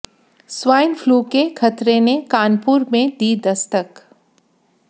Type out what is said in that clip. soil flu का खतरे ने कानपुर में दी दस्तक